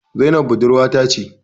Zainab budurwa ta ce